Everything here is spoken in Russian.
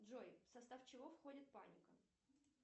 джой в состав чего входит паника